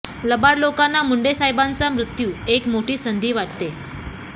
लबाड लोकांना मुंडे साहेबांचा मृत्यू एक मोठी संधी वाटते